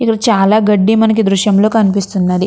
ఇక్కడ చాలా గడ్డి మనకి దృశ్యంలో కనిపిస్తున్నది.